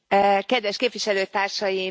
Kedves Képviselőtársaim!